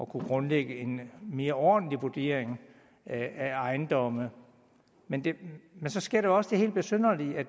kunne grundlægge en mere ordentlig vurdering af ejendomme men så sker der jo også det helt besynderlige at